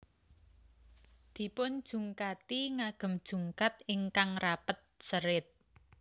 Dipunjungkati ngagem jungkat ingkang rapet serit